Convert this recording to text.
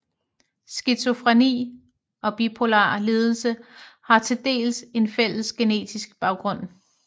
Skizofreni og bipolar lidelse har til dels en fælles genetisk baggrund